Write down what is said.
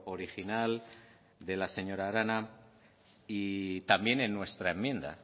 original de la señora arana y también en nuestra enmienda